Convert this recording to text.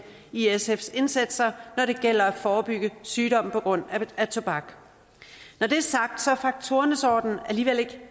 i sfs indsatser når det gælder at forebygge sygdom på grund af tobak når det er sagt er faktorernes orden alligevel ikke